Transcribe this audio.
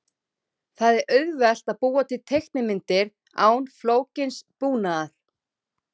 Það er auðvelt að búa til teiknimyndir án flókins búnaðar.